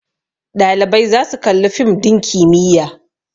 Ɗalibai za su Kalli fim din kimiyya